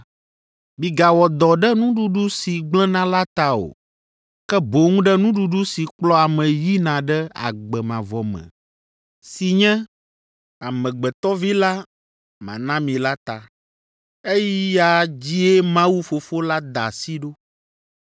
Migawɔ dɔ ɖe nuɖuɖu si gblẽna la ta o, ke boŋ ɖe nuɖuɖu si kplɔa ame yina ɖe agbe mavɔ me si Nye, Amegbetɔ Vi la mana mi la ta. Eya dzie Mawu Fofo la da asi ɖo.”